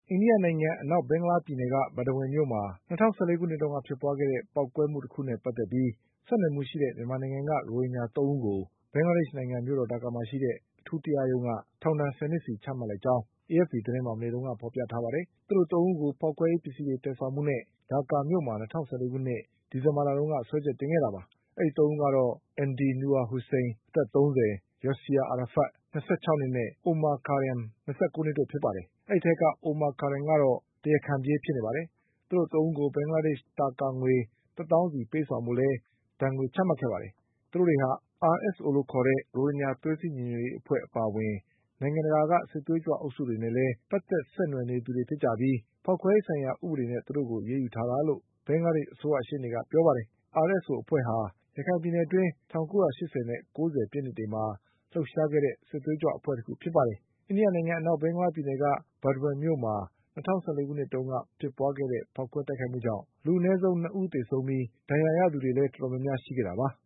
အိန္ဒိယနိုင်ငံအနောက် ဘင်္ဂလားပြည်နယ်က Burdwan မြို့မှာ ၂၀၁၄ခုနှစ်တုန်းက ဖြစ်ပွါးခဲ့တဲ့ ပေါက်ကွဲမှုတခုနဲ့ပတ် သက် ပြီးဆက်နွယ်မှုရှိတဲ့ မြန်မာနိုင်ငံက ရိုဟင်ဂျာသုံးဦးကို ဘင်္ဂလားဒေ့ရှ်နိုင်ငံ မြို့တော်ဒါကာ မှာရှိတဲ့အထူးတရားရုံးက ထောင်ဒဏ် ဆယ်နှစ်ဆီချမှတ်လိုက်ကြောင်း AFP သတင်းမှာ မနေ့က ဖေါ်ပြထားပါတယ်။ သူတို့သုံးဦးကိုဖေါက်ခွဲရေး ပစ္စည်းတွေသယ် ဆောင်မှုနဲ့ ဒါကာမြို့မှာ ၂၀၁၄ာခုနှစ် ဒီဇင်ဘာလတုန်းက စွဲချက်တင်ခဲ့တာပါ။အဲဒီသုံးဦးကတော့ Md Nur Hossain အသက်၃၀၊ Yeasir Arafat ၂၆နှစ်နဲ့ Omar Karim ၂၉ နှစ်တို့ဖြစ်ကြပါတယ်။ အဲဒီအထဲက Omar Karimက တော့ တရားခံပြေးဖြစ်နေပါတယ်။ သူတို့သုံးဦးကို ဘင်္ဂလားဒေ့ရှ် ငွေ တသောင်းဆီပေးဆောင်ဖို့လည်း ဒဏ်ငွေချမှတ် ခဲ့ပါတယ်။ သူတို့တွေဟာ RSO လို့ခေါ်တဲ့ ရိုဟင်ဂျာသွေးစည်းညီညွှတ်ရေးအဖွဲ့အပါအဝင် နိုင်ငံတကာက စစ်သွေးကြွ အုပ်စုတွေနဲ့လည်း ပတ်သက်ဆက်နွယ်နေသူတွေ ဖြစ်ကြပြီး ဖေါက်ခွဲရေးဆိုင်ရာဥပဒေနဲ့သူတို့ကိုအရေးယူ ထားတာလို့ ဘင်္ဂလားဒေ့ရှ် အစိုးရရှေ့နေကပြောပါတယ်။ RSO အဖွဲ့ဟာ ရခိုင်ပြည်နယ်အတွင်း ၁၉၈၀နဲ့၉၀ပြည့်နှစ်တွေ မှာ လှုပ်ရှားခဲ့တဲ့ စစ်သွေးကြွအဖွဲ့တခုဖြစ်ပါတယ်။ အိန္ဒိယနိုင်ငံ အနောက် ဘင်္ဂလားပြည်နယ်က Burdwan မြို့မှာ ၂၀၁၄ခု နှစ်တုန်းက ဖြစ်ပွား ခဲ့တဲ့ဖေါက်ခွဲတိုက်ခိုက်မှုကြောင့် လူအနည်းဆုံး၂ဦးသေဆုံးပြီး ဒဏ်ရာရသူတွေတော်တော်များများရှိခဲ့ တာပါ။